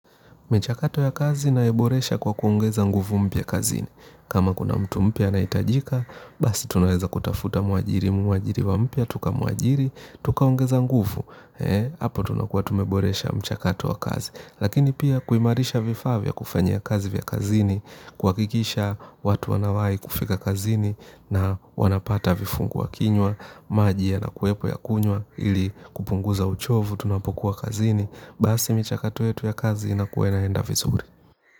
Michakato ya kazi naiboresha kwa kuongeza nguvu mpya kazini. Kama kuna mtu mpya anahitajika, basi tunaweza kutafuta mwajiriwa mpya, tukamuajiri, tukaongeza nguvu. Hapo tunakua tumeboresha mchakato ya kazi. Lakini pia kuimarisha vifaa vya kufanyia kazi vya kazini, kuhakikisha watu wanawahi kufika kazini na wanapata vifungua kinywa, maji yanakuwepo ya kunywa ili kupunguza uchovu, tunapokuwa kazini. Basi michakato yetu ya kazi inakuwa inaenda vizuri.